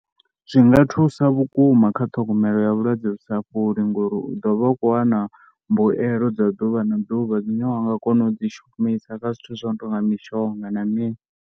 Zwi nga thusa vhukuma kha u ṱhogomelo ya vhulwadze vhu sa fholi ngori u ḓo vha u khou wana mbuelo dza ḓuvha na ḓuvha dzine wa nga kona u dzi shumisa kha zwithu zwo no tou nga mishonga na mini.